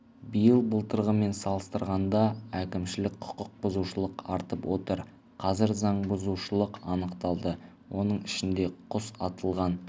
биыл былтырғымен салыстырғанда әкімшілік құқық бұзушылық артып отыр қазір заң бұзушылық анықталды оның ішінде құс атылған